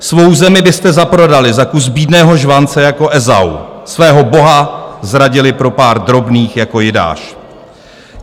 Svou zemi byste zaprodali za kus bídného žvance jako Ezau, svého Boha zradili pro pár drobných jako Jidáš.